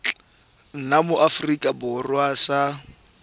nna mo aforika borwa sa